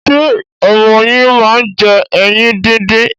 Ṣé ọmọ yín máa ń jẹ ẹyin díndín?